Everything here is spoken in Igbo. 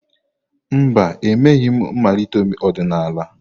Mba, emeghị m mmalite ọdịnala.